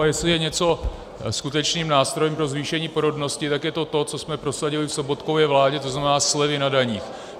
A jestli je něco skutečným nástrojem pro zvýšení porodnosti, tak je to to, co jsme prosadili v Sobotkově vládě, to znamená slevy na daních.